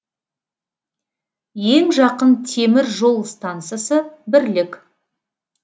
ең жақын темір жол стансасы бірлік